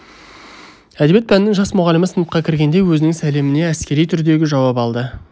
әдебиет пәнінің жас мұғалімі сыныпқа кіргенде өзінің сәлеміне әскери түрдегі жауап алады